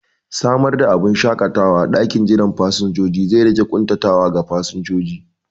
Samar da abubun shaƙatawa a ɗakin jiran fasinjoji zai rage ƙuntatawa ga fasinjojin